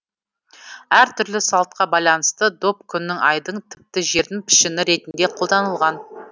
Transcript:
әртүрлі салтқа байланысты доп күннің айдың тіпті жердің пішіні ретінде қолданылған